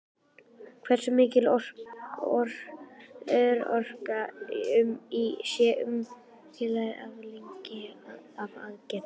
Hversu mikil örorka sé óumflýjanleg afleiðing af aðgerðinni?